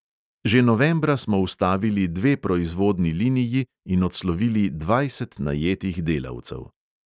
Že novembra smo ustavili dve proizvodni liniji in odslovili dvajset najetih delavcev.